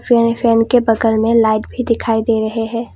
Fan fan के बगल में लाइट भी दिखाई दे रहे हैं।